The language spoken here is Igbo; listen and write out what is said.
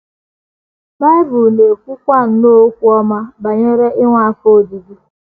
Bible na - ekwukwa nnọọ okwu ọma banyere inwe afọ ojuju.